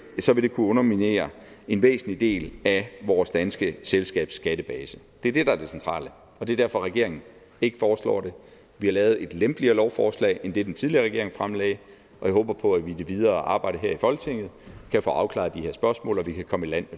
vil kunne underminere en væsentlig del af vores danske selskabsskattebase det er det der er det centrale og det er derfor regeringen ikke foreslår det vi har lavet et lempeligere lovforslag end det den tidligere regering fremsatte og jeg håber på at vi i det videre arbejde her i folketinget kan få afklaret de her spørgsmål og at vi kan komme i land